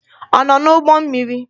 Ọ nọ n'ụgbọ mmiri?